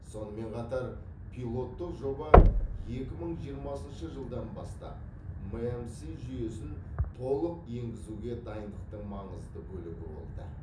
сонымен қатар пилоттық жоба екі мың жиырмасыншы жылдан бастап мәмс жүйесін толық енгізуге дайындықтың маңызды бөлігі болды